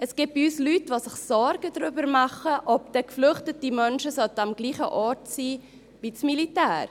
Es gibt bei uns Leute, die sich darüber Sorge machen, ob geflüchtete Menschen am selben Ort sein sollen wie das Militär.